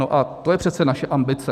No a to je přece naše ambice.